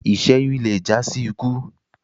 iṣẹyun lẹ já sí ikú